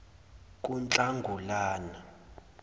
kunhlangulana